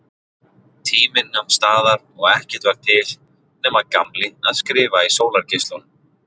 Tíminn nam staðar og ekkert var til nema Gamli að skrifa í sólargeislunum.